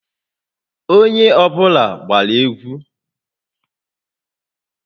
Onye ọ bụla gbaa egwu!